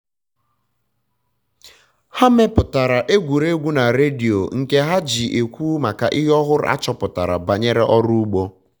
ha mepụtara egwuruegwu na redio nke ha ji ekwu maka ihe ọhụrụ achọpụtara banyere ọrụ ugbo